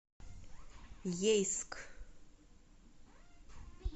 ейск